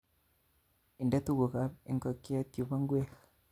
Inde tuku'kap inkokyet yupo ngwek